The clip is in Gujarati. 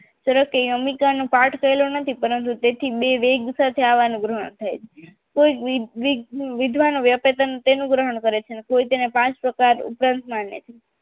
તેને કોઈ અમિકા ન પાંચ પ્રકાર ઉપરાંતમાં લે છે શ્વાસની ફિશર્સ સંપ્રદીકા અફરોકફ ના કારણે અવરોધ અને બીમાર ગામે વાયુ જ્યારે સ્તુતો કાન ઉદ